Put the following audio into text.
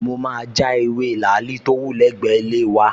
Mo máa ja ewé làálì tó wù lẹ́gbẹ̀ẹ́ ilé wa